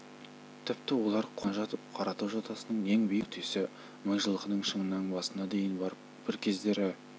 тіпті олар қона жатып қаратау жотасының ең биік нүктесі мыңжылқының шыңының басына дейін барып бір кездері